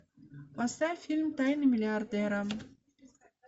поставь фильм тайны миллиардера